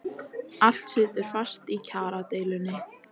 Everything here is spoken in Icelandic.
Allt situr fast í kjaradeilunni